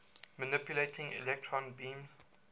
manipulating electron beams